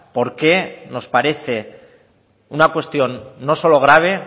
por qué nos parece una cuestión no solo grave